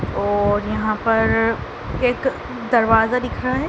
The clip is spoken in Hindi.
और यहाँ पर एक दरवाजा दिख रहा हैं।